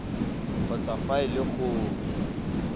kgotsa fa e le gore